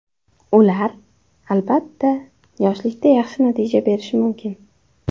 Ular, albatta, yoshlikda yaxshi natija berishi mumkin.